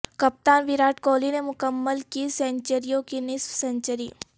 کپتان وراٹ کوہلی نے مکمل کی سنچریوں کی نصف سنچری